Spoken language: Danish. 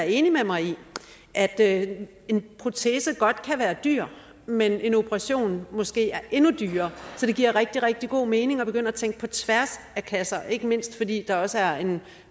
enig med mig i at en protese godt kan være dyr men at en operation måske er endnu dyrere så det giver rigtig rigtig god mening at begynde at tænke på tværs af klasser ikke mindst fordi der også er en